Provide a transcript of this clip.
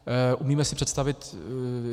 Umíme si představit...